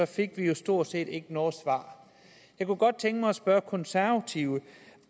fik vi stort set ikke noget svar jeg kunne godt tænke mig at spørge konservative